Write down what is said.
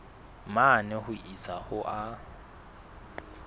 mane ho isa ho a